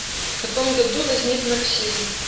в каком году возник марксизм